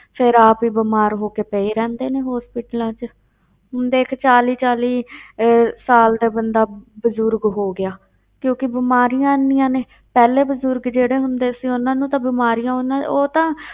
ਫਿਰ ਆਪ ਹੀ ਬਿਮਾਰ ਹੋ ਕੇ ਪਏ ਰਹਿੰਦੇ ਨੇ hospitals ਵਿੱਚ ਹੁਣ ਦੇਖ ਚਾਲੀ ਚਾਲੀ ਇਹ ਸਾਲ ਦਾ ਬੰਦਾ ਬਜ਼ੁਰਗ ਹੋ ਗਿਆ ਕਿਉਂਕਿ ਬਿਮਾਰੀਆਂ ਇੰਨੀਆਂ ਨੇ, ਪਹਿਲਾਂ ਬਜ਼ੁਰਗ ਜਿਹੜੇ ਹੁੰਦੇ ਸੀ ਉਹਨਾਂ ਨੂੰ ਤਾਂ ਬਿਮਾਰੀਆਂ ਉਹਨਾਂ ਉਹ ਤਾਂ